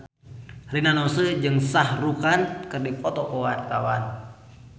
Rina Nose jeung Shah Rukh Khan keur dipoto ku wartawan